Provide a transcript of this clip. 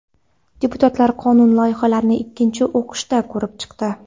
Deputatlar qonun loyihalarini ikkinchi o‘qishda ko‘rib chiqdi.